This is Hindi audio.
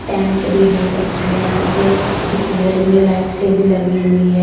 पेंट भी बहोत अच्छा है यहां पे इस हॉल में लाइट्से भी लगी हुई है।